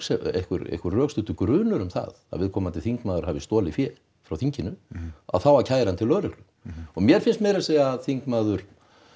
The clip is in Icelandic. einhver einhver rökstuddur grunur um það að viðkomandi þingmaður hafi stolið fé frá þinginu þá að kæra hann til lögreglu og mér finnst meir að segja þingmaður